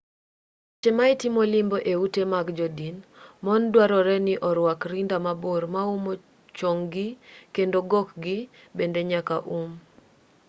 e seche ma itimo limbe e ute mag jodin mon dwarore ni orwak rinda mabor maumo chong-gi kendo gokgi bende nyaka um